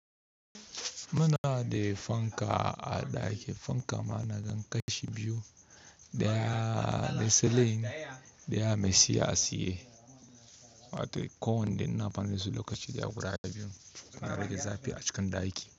Muna da fanka a ɗaki. Fanka ma na nan ƙashi biyu, ɗaya na seling, ɗaya mai tsiya a tsaye. Ko wanda ina amfani dasu lokaci ɗaya guda biyu. Muna rage zafi a cikin ɗaki.